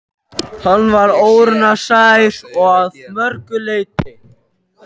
Hann var óraunsær að mörgu leyti.